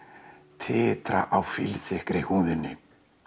titra á húðinni